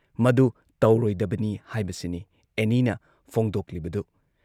ꯃꯗꯨ ꯇꯧꯔꯣꯏꯗꯕꯅꯤ ꯍꯥꯏꯕꯁꯤꯅꯤ ꯑꯦꯅꯤꯅ ꯐꯣꯡꯗꯣꯛꯂꯤꯕꯗꯨ ꯫